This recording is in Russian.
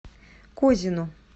козину